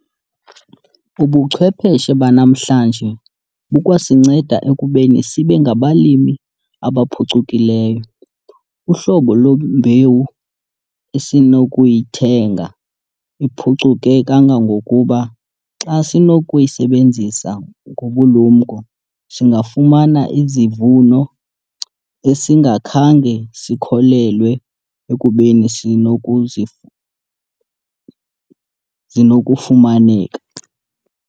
Ubuchwepheshe banamhla bukwasinceda ekubeni sibe ngabalimi abaphucukileyo. Uhlobo lwembewu esinokuyithenga iphucuke kangangokuba xa sinokuyisebenzisa ngobulumko singafumana izivuno esingakhange sikholelwe ekubeni sinokuzi zinokufumaneka.